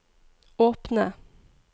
åpne